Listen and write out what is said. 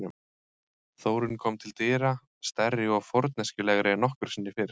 Þórunn kom til dyra, stærri og forneskjulegri en nokkru sinni fyrr.